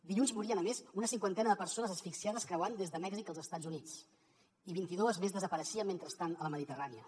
dilluns morien a més una cinquantena de persones asfixiades creuant des de mèxic als estats units i vint i dues més desapareixien mentrestant a la mediterrània